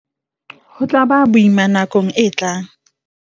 Ho tla ba boima nakong e tlang.